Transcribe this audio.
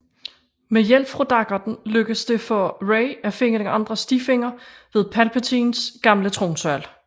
Med hjælp fra daggerten lykkes det for Rey at finde en anden stifinder ved Palpatines gamle tronsal